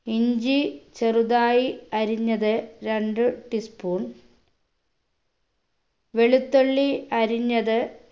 ഇഞ്ചി ചെറുതായി അരിഞ്ഞത് രണ്ട് tea spoon വെളുത്തുള്ളി അരിഞ്ഞത്